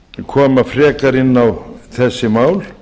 koma frekar inn á þessi mál